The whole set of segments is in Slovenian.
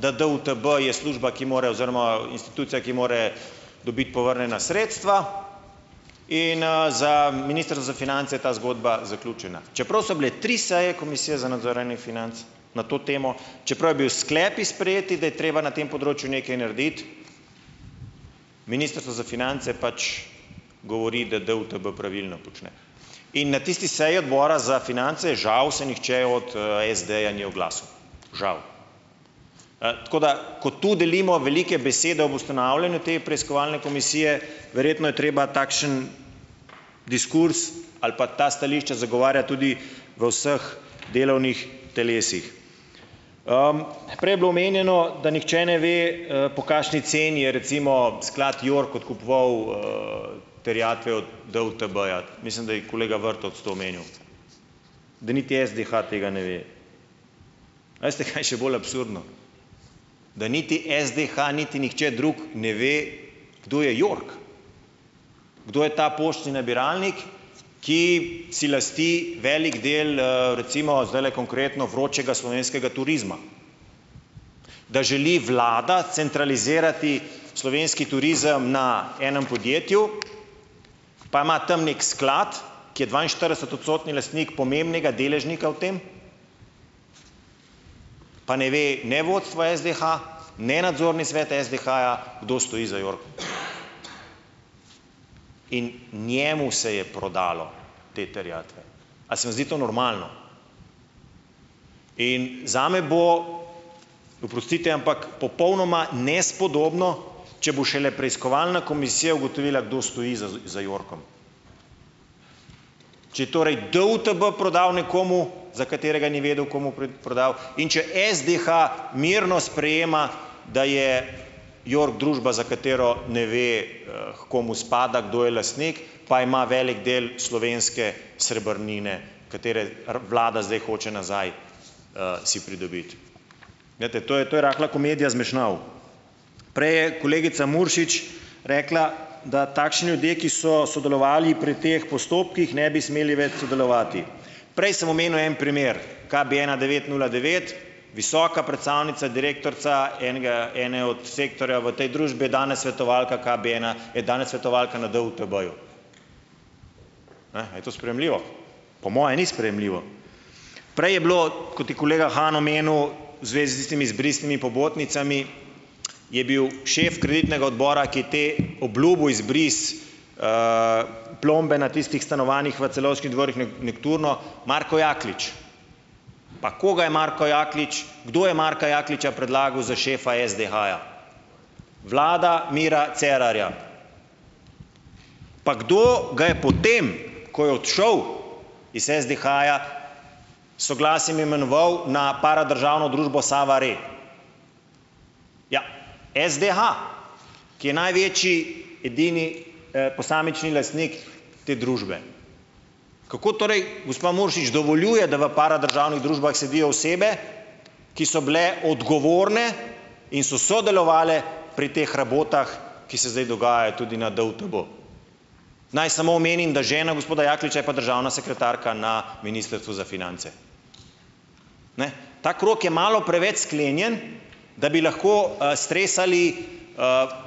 da DUTB je služba, ki mora, oziroma institucija, ki mora dobiti povrnjena sredstva, in za minister za finance je ta zgodba zaključena. Čeprav so bile tri seje komisije za nadzorovanje financ na to temo, čeprav je bil sklepi sprejet, da je treba na tem področju nekaj narediti, Ministrstvo za finance pač govori, da DUTB pravilno počne. In na tisti seji Odbora za finance žal se nihče od SD-ja ni oglasil. Žal. tako da, ko tu delimo velike besede ob ustanavljanju te preiskovalne komisije, verjetno je treba takšen diskurz ali pa ta stališča zagovarjati tudi v vseh delovnih telesih. prej je bilo omenjeno, da nihče ne ve, po kakšni ceni je recimo sklad York odkupoval terjatve od DUTB-ja, mislim, da je kolega Vrtovec to omenil, da niti SDH tega ne ve. A veste kaj še bolj absurdno? Da niti SDH niti nihče drug ne ve, kdo je York, kdo je ta poštni nabiralnik, ki si lasti velik del recimo zdajle konkretno vročega slovenskega turizma. Da želi Vlada centralizirati slovenski turizem na enem podjetju , pa ima tam nekje sklad, ki je dvainštiridesetodstotni lastnik pomembnega deležnika v tem, pa ne ve ne vodstvo SDH, ne nadzorni svet SDH-ja, kdo stoji za Yorkom. In njemu se je prodalo te terjatve. A se vam zdi to normalno? In zame bo, oprostite, ampak popolnoma nespodobno, če bo šele preiskovalna komisija ugotovila, kdo stoji za Yorkom. Če torej DUTB prodal nekomu, za katerega ni vedel, komu prodal, in če SDH mirno sprejema, da je York družba, za katero ne ve, h komu spada, kdo je lastnik, pa ima velik del slovenske srebrnine, katere Vlada zdaj hoče nazaj si pridobiti. Glejte to je, to je rahla komedija zmešnjav. Prej je kolegica Muršič rekla, da takšni ljudje, ki so sodelovali pri teh postopkih, ne bi smeli več sodelovati. Prej sem omenil en primer, KB ena devet nula devet, visoka predstavnica, direktorica enega, ene od sektorja v tej družbi, je danes svetovalka KB ena, je danes svetovalka na DUTB-ju. Ne, a je to sprejemljivo? Po moje ni sprejemljivo. Prej je bilo, kot je kolega Han omenil, zvezi s temi izbrisnimi pobotnicami, je bil šef kreditnega odbora, ki te obljubil izbris plombe na tistih stanovanjih v Celovških dvorih Nokturno, Marko Jaklič. Pa koga je Marko Jaklič, kdo je Marka Jakliča predlagal za šefa SDH-ja? Vlada Mira Cerarja. Pa kdo ga je potem, ko je odšel iz SDH-ja, soglasjem imenoval na paradržavno družbo Sava Re? Ja, SDH, ki je največji, edini posamični lastnik te družbe. Kako torej, gospa Muršič dovoljuje, da v paradržavnih družbah sedijo osebe, ki so bile odgovorne in so sodelovale pri teh rabotah, ki se zdaj dogajajo tudi na DUTB. Naj samo omenim, da žena gospoda Jakliča je pa državna sekretarka na Ministrstvu za finance. Ne. Ta krog je malo preveč sklenjen, da bi lahko stresali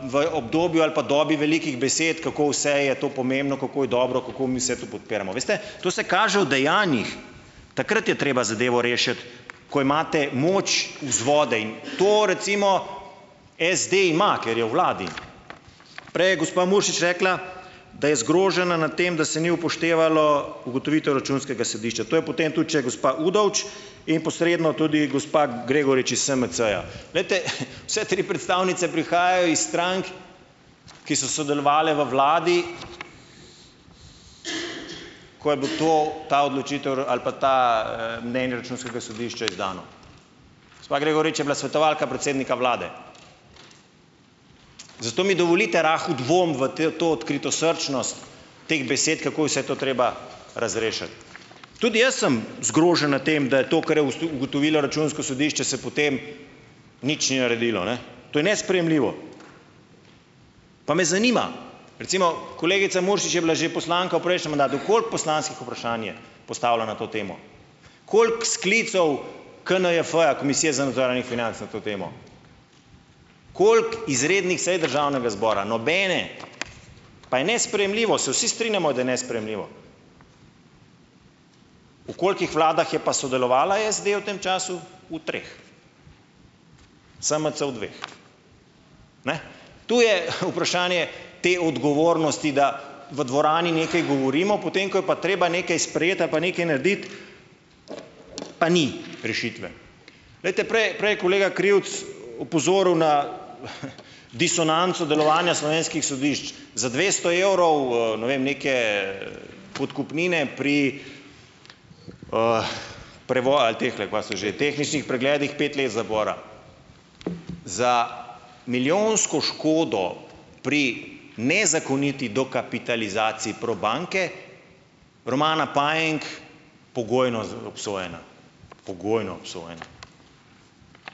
v obdobju ali pa dobi velikih besed, kako vse je to pomembno, kako je dobro, kako mi vse to podpiramo. Veste, to se kaže v dejanjih. Takrat je treba zadevo rešiti, ko imate moč, vzvode, in to recimo SD ima, ker je v Vladi. Prej je gospa Muršič rekla, da je zgrožena nad tem, da se ni upoštevalo ugotovitev računskega sodišča, to je potem tudi še gospa Udovč in posredno tudi gospa Gregorič iz SMC-ja. Glejte, vse tri predstavnice prihajajo iz strank, ki so sodelovale v Vladi, ko je bilo to , ta odločitev ali pa ta Računskega sodišča izdano. Gospa Gregorič je bila svetovalka predsednika Vlade. Zato mi dovolite rahel dvom v te to odkritosrčnost teh besed, kako je vse to treba razrešiti. Tudi jaz sem zgrožen nad tem, da je to, kar je ugotovilo Računsko sodišče, se potem nič ni naredilo, ne. To je nesprejemljivo. Pa me zanima, recimo kolegica Muršič je bila že poslanka v prejšnjem mandatu , koliko poslanskih vprašanj je postavila na to temo? Koliko sklicev KNJF-ja, Komisija za nadzor javnih financ, na to temo, koliko izrednih saj Državnega zbora? Nobene. Pa je nesprejemljivo, se vsi strinjamo, da je nesprejemljivo. V kolikih Vladah je pa sodelovala SD v tem času? V treh. SMC v dveh. Ne, to je vprašanje te odgovornosti da, v dvorani nekaj govorimo ,, potem ko je pa treba nekaj sprejeti ali pa nekaj narediti pa ni rešitve. Glejte prej je kolega Krivec opozoril na disonanco delovanja slovenskih sodišč. Za dvesto evrov ne vem neke podkupnine pri tehle, kaj so že, tehničnih pregledih pet let zapora. Za milijonsko škodo pri nezakoniti dokapitalizaciji Probanke Romana Pajenk pogojno obsojena. Pogojno obsojena.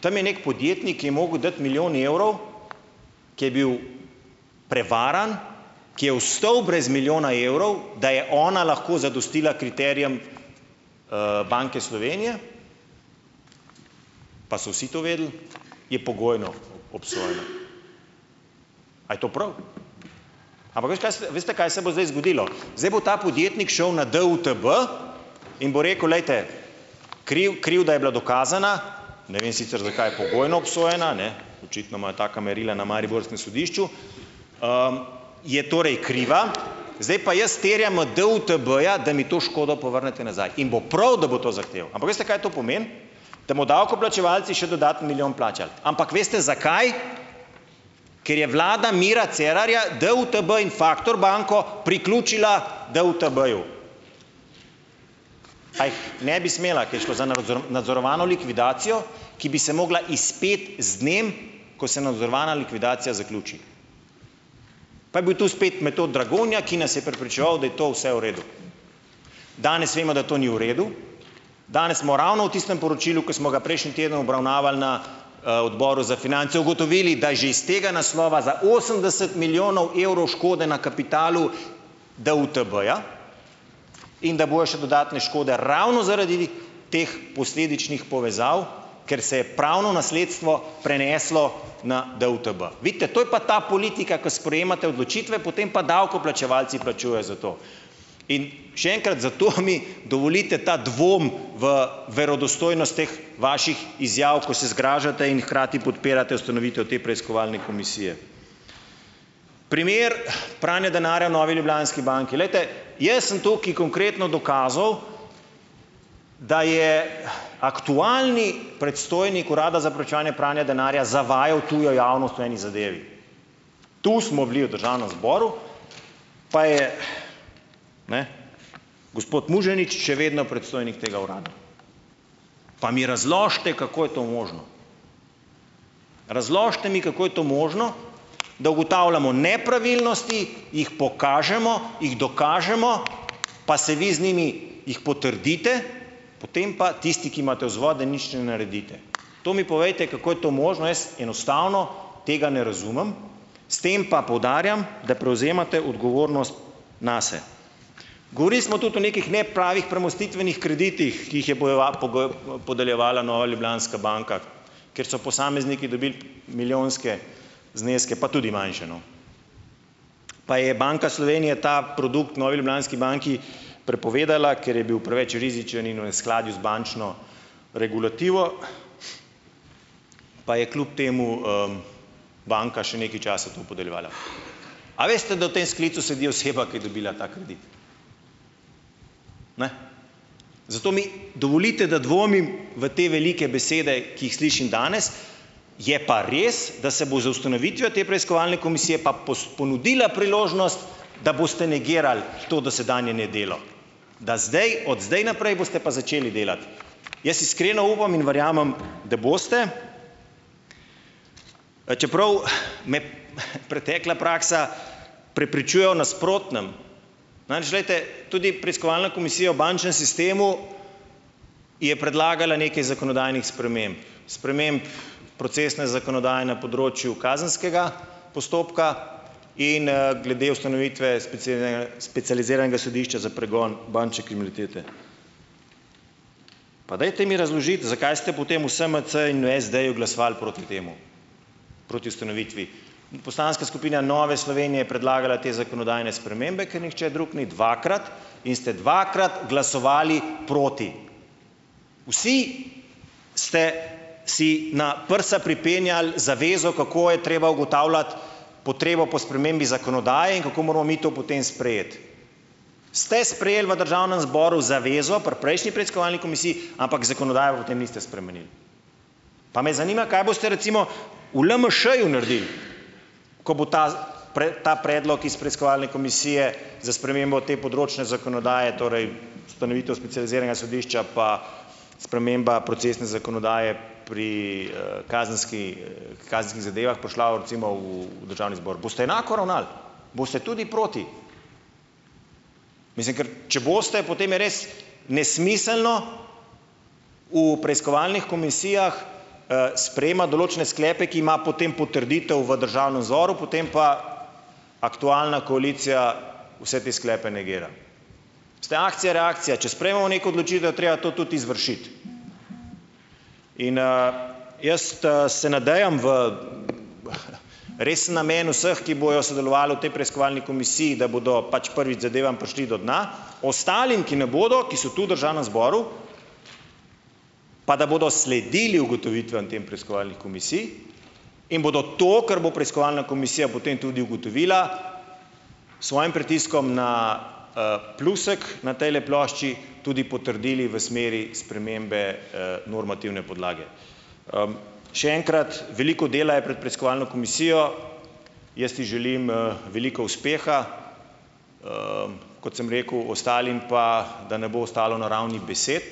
Tam je neki podjetnik, je moral dati milijon evrov, ke je bil prevaran, ki je ostal brez milijona evrov, da je ona lahko zadostila kriterijem Banke Slovenije, pa so vsi to vedeli, je pogojno obsojen. Kaj to prav? Ampak veš, kaj se, veste kaj se bo zdaj zgodilo? Zdaj bo ta podjetnik šel na DUTB in bo rekel, glejte, krivda je bila dokazana, ne vem sicer, zakaj pogojno obsojena , ne, očitno imajo taka merila na mariborskem sodišču, je torej kriva , zdaj pa jaz terjam od DUTB-ja, da mi to škodo povrnete nazaj. In bo prav, da bo to zahteval. Ampak veste, kaj to pomeni? Da bomo davkoplačevalci še dodaten milijon plačali. Ampak veste, zakaj? Ker je vlada Mira Cerarja DUTB in Factor banko priključila DUTB-ju. Kaj ne bi smela, ko je šlo za nadzorovano likvidacijo, ki bi se morala izpeti z dnem, ko se nadzorovana likvidacija zaključi. Pa je bil to spet Metod Dragonja, ki nas je prepričeval, da je to vse v redu. Danes vemo, da to ni v redu, danes smo ravno v tistem poročilu, ke smo ga prejšnji teden obravnavali na Odboru za finance, ugotovili, da že iz tega naslova za osemdeset milijonov evrov škode na kapitalu DUTB-ja in da bojo še dodatne škode ravno zaradi teh posledičnih povezav, ker se je pravno nasledstvo preneslo na DUTB. Vidite, to je pa ta politika, ke sprejemate odločitve, potem pa davkoplačevalci plačujejo za to. In še enkrat, dovolite ta dvom v verodostojnost teh vaših izjav, ko se zgražate in hkrati podpirate ustanovitev te preiskovalne komisije. Primer pranja denarja Novi ljubljanski banki, glejte, jaz sem tukaj konkretno dokazal, da je aktualni predstojnik Urada za preprečevanje pranja denarja zavajal tujo javnost v eni zadevi. Tu smo bili v Državnem zboru, pa je, ne, gospod Muženič še vedno predstojnik tega Urada. Pa mi razložite, kako je to možno, razložite mi, kako je to možno, da ugotavljamo nepravilnosti, jih pokažemo, jih dokažemo, pa se vi z njimi, jih potrdite, potem pa tisti, ki imate vzvode, nič ne naredite. To mi povejte, kako je to možno, jaz enostavno tega ne razumem, s tem pa poudarjam, da prevzemate odgovornost nase. Govorili smo tudi o nekih nepravih premostitvenih kreditih, ki jih je podeljevala Nova ljubljanska banka, ker so posamezniki dobili milijonske zneske, pa tudi manjše, no. Pa je Banka Slovenije ta produkt Novi ljubljanski banki prepovedala, ker je bil preveč rizičen in v neskladju z bančno regulativo, pa je kljub temu banka še nekaj časa to podeljevala. A veste, da v tem sklicu sedi oseba, ki je dobila ta kredit? Ne. Zato mi dovolite, da dvomim v te velike besede, ki jih slišim danes. Je pa res, da se bo z ustanovitvijo te preiskovalne komisije pa ponudila priložnost, da boste negirali to dosedanje nedelo. Da zdaj, od zdaj naprej boste pa začeli delati. Jaz iskreno upam in verjamem, da boste, a čeprav me pretekla praksa prepričuje o nasprotnem. Namreč glejte, tudi preiskovalna komisija v bančnem sistemu je predlagala nekaj zakonodajnih sprememb, sprememb procesne zakonodaje na področju kazenskega postopka in glede ustanovitve specializiranega sodišča za pregon bančne kriminalitete. Pa dajte mi razložiti, zakaj ste potem v SMC-ju in SD-ju glasovali proti temu, proti ustanovitvi in poslanska skupina Nove Slovenije je predlagala te zakonodajne spremembe, ker nihče drug ni dvakrat, in ste dvakrat glasovali proti. Vsi ste si na prsa pripenjali zavezo, kako je treba ugotavljati potrebo po spremembi zakonodaje in kako moramo mi to potem sprejeti. Ste sprejeli v Državnem zboru zavezo pri prejšnji preiskovalni komisiji, ampak zakonodaje pa potem niste spremenili. Pa me zanima, kaj boste recimo v LMŠ-ju naredili , ko bo ta ta predlog iz preiskovalne komisije za spremembo te področne zakonodaje, torej ustanovitev specializiranega sodišča pa sprememba procesne zakonodaje pri kazenskih zadevah prišla recimo v Državni zbor. Boste enako ravnali? Boste tudi proti? Mislim, ker če boste, potem je res nesmiselno v preiskovalnih komisijah sprejemati določene sklepe, ki ima potem potrditev v Državnem zboru, potem pa aktualna koalicija vse te sklepe negira. Ste akcija reakcija, če sprejmemo neko odločitev, je treba to tudi izvršiti. In jaz se nadejam v res namen vseh, ki bojo sodelovali v tej preiskovalni komisiji, da bodo pač prvič zadevam prišli do dna, ostalim, ki ne bodo, ki so tu v Državnem zboru, pa da bodo sledili ugotovitvam tem preiskovalnih komisij, in bodo to, kar bo preiskovalna komisija o tem tudi ugotovila, svojim pritiskom na plusek na tejle plošči tudi potrdili v smeri spremembe normativne podlage. še enkrat, veliko dela je pred preiskovalno komisijo. Jaz ji želim veliko uspeha, kot sem rekel, ostalim pa, da ne bo ostalo na ravni besed,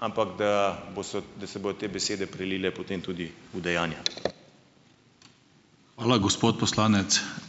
ampak da bo se, da se bodo te besede prelile potem tudi v dejanja. Hvala, gospod poslanec. Za ...